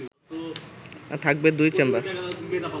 থাকবে দুটি চেম্বার